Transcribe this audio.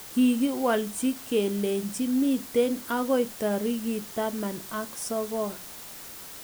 Kikiwolji keleji mitei ako tarik taman ak sokol.